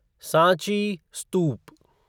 Sanchi स्तूप